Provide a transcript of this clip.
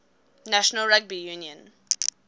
national rugby union